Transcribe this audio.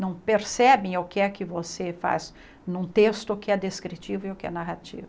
Não percebem o que é que você faz num texto que é descritivo e o que é narrativo.